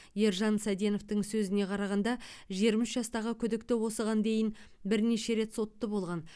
ержан саденовтің сөзіне қарағанда жиырма үш жастағы күдікті осыған дейін бірнеше рет сотты болған